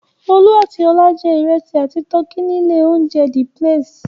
Olú àti Ọlá jẹ́ ìrẹsì àti tọkí ní ilé-oúnjẹ The Place?